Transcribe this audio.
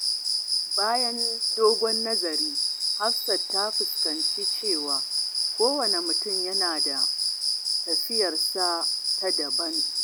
Bayan dogon nazari, Hafsat ta fahimci cewa kowanne mutum yana da tafiyarsa ta daban.